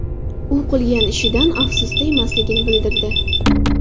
U qilgan ishidan afsusda emasligini bildirdi.